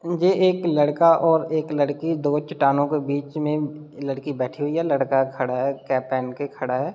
ये एक लड़का और एक लड़की दो चटानो के बीच में लड़की बैठी हुई है लड़का खड़ा है कैप पेहेन के खड़ा है।